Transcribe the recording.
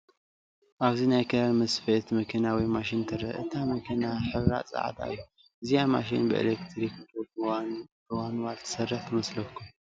ኣብዚ ናይ ክዳን መስፈይት መኪና ወይ ማሽን ትረአ፡፡ እታ መኪና ሕብራ ፃዕዳ እዩ፡፡ እዚኣ ማሽን ብኤሌክትሪክ ዶ ብማንዋል ትሰርሕ ትመስለኩም?